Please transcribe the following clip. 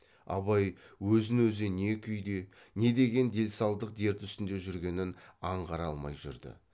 абай өзін өзі не күйде не деген делсалдық дерт үстінде жүргенін аңғара алмай жүрді